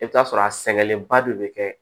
I bɛ t'a sɔrɔ a sɛgɛnlenba de bɛ kɛ